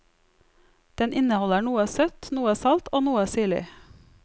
Den inneholder noe søtt, noe salt og noe syrlig.